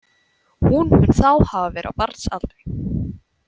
Hún mun þá hafa verið á barnsaldri.